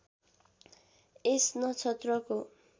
यस नक्षत्रको